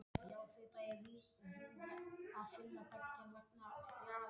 Sævar skyndilega í mig og var augljóslega mikið niðri fyrir.